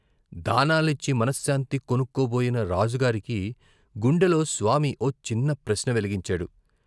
దానాలిచ్చి మనశ్శాంతి కొనుక్కోబోయిన రాజుగారికి గుండెలో స్వామి ఓ చిన్న ప్రశ్న వెలిగించాడు.